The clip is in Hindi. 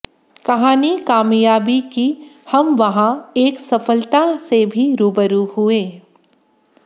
कहानी कामयाबी कीहम वहां एक सफलता से भी रूबरू हुए